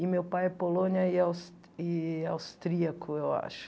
E meu pai é polônia e aus e austríaco, eu acho.